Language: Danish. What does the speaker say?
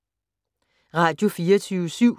Radio24syv